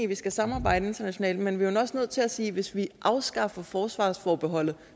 vi skal samarbejde internationalt men vi er vel også nødt til at sige at hvis vi afskaffer forsvarsforbeholdet